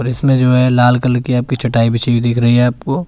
इसमें जो है लाल कलर की आपकी चटाई बिछी दिख रही है आपको--